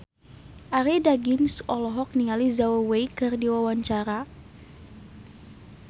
Arie Daginks olohok ningali Zhao Wei keur diwawancara